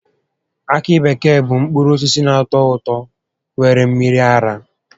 Akị bekee bụ mkpụrụ osisi na-atọ ụtọ nwere mmiri ara